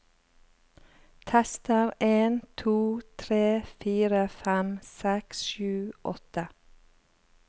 Tester en to tre fire fem seks sju åtte